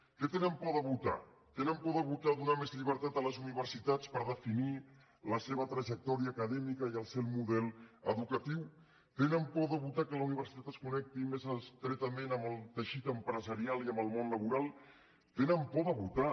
què tenen por de votar tenen por de votar donar més llibertat a les universitats per definir la seva trajectòria acadèmica i el seu model educatiu tenen por de votar que la universitat es connecti més estretament amb el teixit empresarial i amb el món laboral tenen por de votar